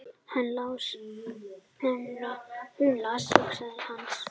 Hún las hugsanir hans!